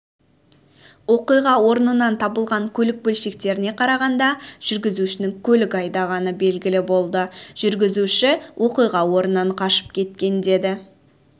оқиға орнынан табылған көлік бөлшектеріне қарағанда жүргізушінің көлігін айдағаны белгілі болды жүргізуші оқиға орнынан қашып кеткен деді